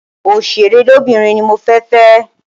Oṣèré lóbìnrin ni mo fẹ́ fẹ́.